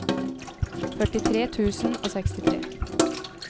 førtitre tusen og sekstitre